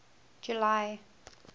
july